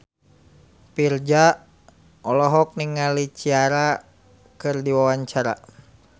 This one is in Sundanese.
Virzha olohok ningali Ciara keur diwawancara